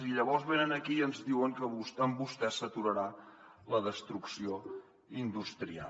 i llavors venen aquí i ens diuen que amb vostès s’aturarà la destrucció industrial